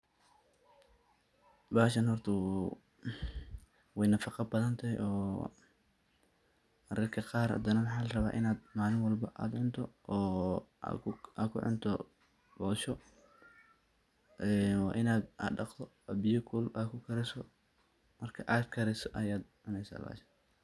Bahashan horta way nafaqa badhan tahy mararka qar hadanah waxa laraba inad malin walbo inad cunto oo ad kucunto bosho, wa inaad daqto oo biya kulul ad kukariso marka ad kariso ayad cuneysa.